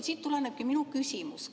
Siit tulenebki minu küsimus.